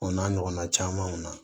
O n'a ɲɔgɔnna camanw na